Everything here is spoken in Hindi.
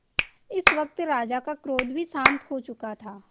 इस वक्त राजा का क्रोध भी शांत हो चुका था